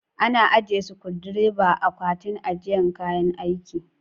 Ana ajiye sukundireba a Akwatin ajiye kayan aiki.